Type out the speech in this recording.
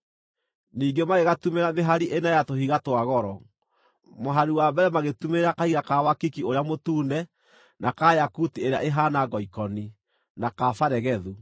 Ningĩ magĩgatumĩrĩra mĩhari ĩna ya tũhiga twa goro. Mũhari wa mbere magĩtumĩrĩra kahiga ka wakiki ũrĩa mũtune, na ka yakuti ĩrĩa ĩhaana ngoikoni, na ka baregethu;